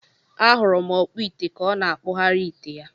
Ahuru m okpu ite ka ọ na akpu ghari ite ya.